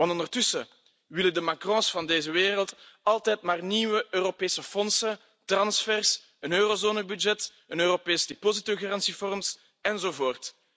Ondertussen willen de Macrons van deze wereld immers altijd maar nieuwe Europese fondsen, transfers, een Eurozone budget, een Europees depositogarantiefonds, enzovoort.